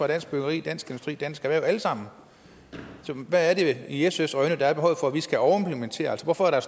dansk byggeri dansk industri dansk erhverv alle sammen hvad er det i sfs øjne der er behovet for at vi skal overimplementere altså hvorfor er der